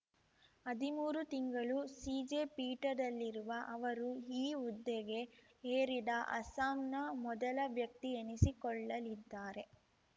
ಹದಿಮೂರು ತಿಂಗಳು ಸಿಜೆ ಪೀಠದಲ್ಲಿರುವ ಅವರು ಈ ಹುದ್ದೆಗೆ ಏರಿದ ಅಸ್ಸಾಂನ ಮೊದಲ ವ್ಯಕ್ತಿ ಎನಿಸಿಕೊಳ್ಳಲಿದ್ದಾರೆ